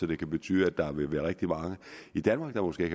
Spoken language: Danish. vil betyde at der vil være rigtig mange i danmark der måske